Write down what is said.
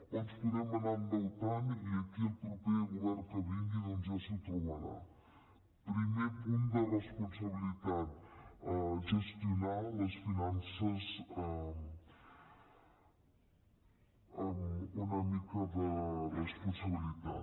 o ens podem anar endeutant i aquí el proper govern que vingui doncs ja s’ho trobarà primer punt de responsabilitat gestionar les finances amb una mica de responsabilitat